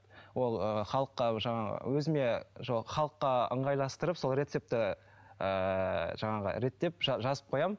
ол ыыы халыққа жаңағы өзіме жоқ халыққа ыңғайластырып сол рецепті ыыы жаңағы реттеп жазып қоямын